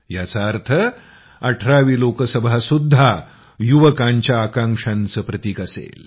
याचा अर्थ 18 वी लोकसभासुद्धा युवकांच्या आकांक्षांचं प्रतीक असेल